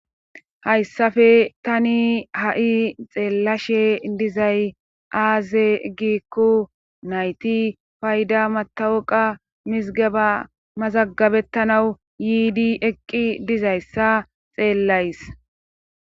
Hayssafe tani ha7i xeellashe dizay aaze giikku nayti fayda matawoqa mizgaba mazagabettanawu yiidi eqqi dizayssa xeellays